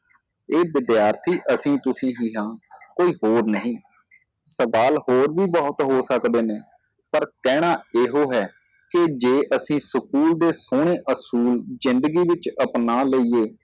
ਇਹ ਵਿਦਿਆਰਥੀ ਅਸੀ ਤੁਸੀਂ ਹੀ ਹਾਂ ਇਹ ਹੋਰ ਨਹੀ ਦਲ ਹੋਰ ਵੀ ਬਹੁਤ ਹੋ ਸਕਦੇ ਨੇ ਪਰ ਕਹਿਣਾ ਇਹੋ ਹੈ ਕਿ ਜੇ ਅਸੀ ਸਕੂਲ ਦੇ ਸੋਹਣੇ ਅੱਸੂਲ ਜ਼ਿੰਦਗੀ ਵਿੱਚ ਅਪਣਾ ਲਈਏ